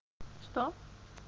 что